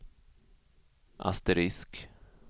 asterisk